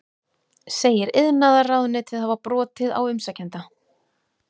Segir iðnaðarráðuneytið hafa brotið á umsækjanda